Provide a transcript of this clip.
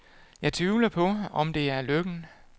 Jeg tvivler på, om det er lykken.